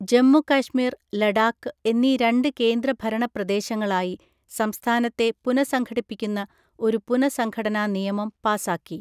ജമ്മു കശ്മീർ, ലഡാക്ക് എന്നീ രണ്ട് കേന്ദ്രഭരണ പ്രദേശങ്ങളായി സംസ്ഥാനത്തെ പുനഃസംഘടിപ്പിക്കുന്ന ഒരു പുനഃസംഘടനാ നിയമം പാസാക്കി.